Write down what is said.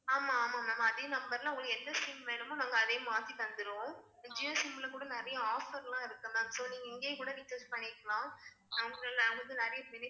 ஆமா ஆமா ma'am அதே number ல உங்களுக்கு எந்த SIM வேணுமோ நாங்க அதே மாத்தி தந்துருவோம் இப்போ Jio SIM ல கூட நிறையா offer லாம் இருக்கு ma'am so நீங்க இங்கயே கூட recharge பண்ணிக்கலாம் அதுல உங்களுக்கு நெறைய